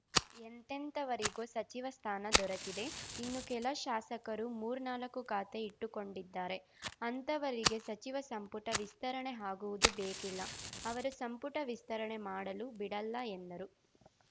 ಎಂತೆಂಥವರಿಗೋ ಸಚಿವ ಸ್ಥಾನ ದೊರಕಿದೆ ಇನ್ನೂ ಕೆಲ ಶಾಸಕರು ಮೂರ್ನಾಲ್ಕು ಖಾತೆ ಇಟ್ಟುಕೊಂಡಿದ್ದಾರೆ ಅಂಥವರಿಗೆ ಸಚಿವ ಸಂಪುಟ ವಿಸ್ತರಣೆ ಆಗುವುದು ಬೇಕಿಲ್ಲ ಅವರು ಸಂಪುಟ ವಿಸ್ತರಣೆ ಮಾಡಲೂ ಬಿಡ ಲ್ಲ ಎಂದರು